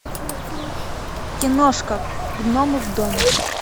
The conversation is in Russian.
киношка гномы в доме